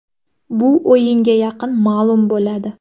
Bu o‘yinga yaqin ma’lum bo‘ladi.